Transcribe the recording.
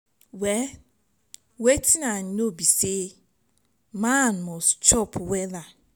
well wetin i know be say man must chop wella.